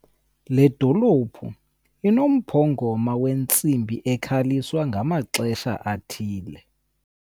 Le dolophu inomphongoma wentsimbi ekhaliswa ngamaxesha athile.